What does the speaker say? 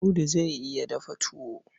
Audu zai iya dafa tuwo.